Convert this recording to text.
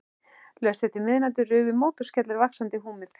Laust eftir miðnætti rufu mótorskellir vaxandi húmið.